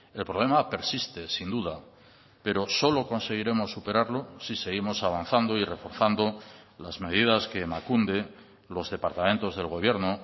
el problema persiste sin duda pero solo conseguiremos superarlo si seguimos avanzando y reforzando las medidas que emakunde los departamentos del gobierno